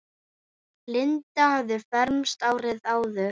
Linda hafði fermst árið áður.